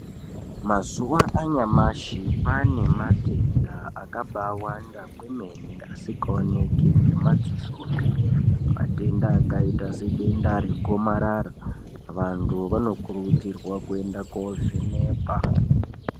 Mazuwa anyamashi panematenda akabaawanda kwemene asingaoneki ngemadzisopi, matenda akaita sedenda regomarara, vanthu vanokuridzirwa kuenda koovhenekwa.